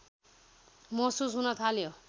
महसुस हुन थाल्यो